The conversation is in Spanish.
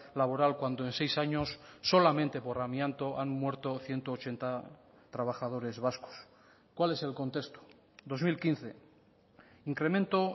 laboral cuando en seis años solamente por amianto han muerto ciento ochenta trabajadores vascos cuál es el contexto dos mil quince incremento